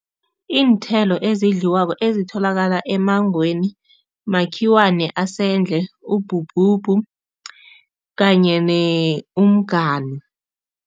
Iinthelo ezidliwako ezitholakala emmangweni, makhiwane asendle, ubhubhubhu kanye umganu.